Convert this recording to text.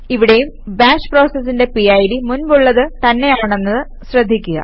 ഇവിടേയും ബാഷ് പ്രോസസിന്റെ പിഡ് മുൻപുള്ളത് തന്നെയാണെന്നത് ശ്രദ്ധിക്കുക